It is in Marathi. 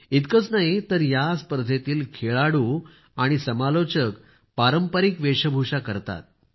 इतकेच नाही तर या स्पर्धेतील खेळाडू आणि समालोचक पारंपारिक वेषभूषा करतात